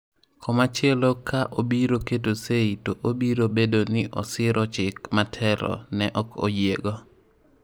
Koma chielo ka obiro keto seyi to obiro bedo ni osiro chik ma telo ne ok oyiego.